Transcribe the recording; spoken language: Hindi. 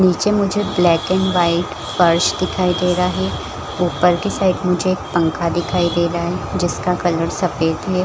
नीचे मुझे ब्लैक एंड वाइट फर्श दिखाई है ऊपर के साइड मुझे पंखा दिखाई दे रहा है जिसका कलर सफेद हैं |